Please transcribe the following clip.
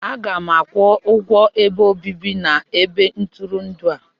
Aga m akwụ ụgwọ ebe obibi na ebe ntụrụndụ a.